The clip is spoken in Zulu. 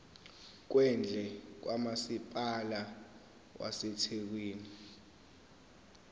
kwendle kamasipala wasethekwini